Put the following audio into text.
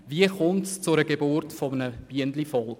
Wie kommt es zur Geburt eines Bienenvolkes?